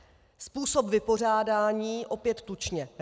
Způsob vypořádání, opět tučně.